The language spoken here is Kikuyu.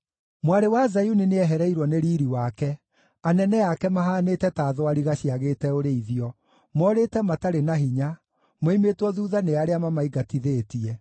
Mwarĩ wa Zayuni nĩehereirwo nĩ riiri wake. Anene ake mahaanĩte ta thwariga ciagĩte ũrĩithio; moorĩte matarĩ na hinya, moimĩtwo thuutha nĩ arĩa mamaingatithĩtie.